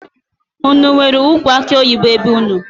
Unu enwere ụkwụ akuoyibo be unu?